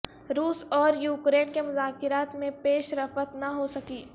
روس اور یوکرین کے مذاکرات میں پیش رفت نہ ہو سکی